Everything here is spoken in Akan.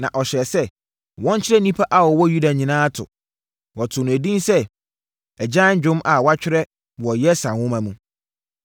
Na ɔhyɛɛ sɛ wɔnkyerɛ nnipa a wɔwɔ Yuda nyinaa to. Wɔtoo no edin sɛ agyan dwom a wɔatwerɛ wɔ Yasar Nwoma mu.